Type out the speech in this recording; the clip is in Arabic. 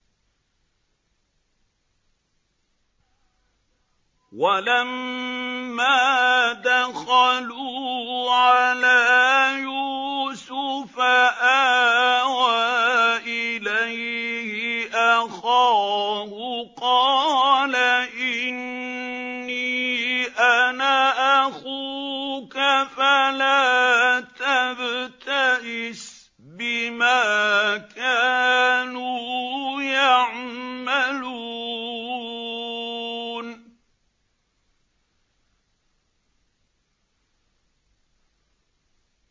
وَلَمَّا دَخَلُوا عَلَىٰ يُوسُفَ آوَىٰ إِلَيْهِ أَخَاهُ ۖ قَالَ إِنِّي أَنَا أَخُوكَ فَلَا تَبْتَئِسْ بِمَا كَانُوا يَعْمَلُونَ